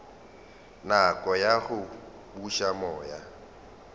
nako ya go buša moya